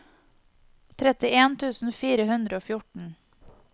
trettien tusen fire hundre og fjorten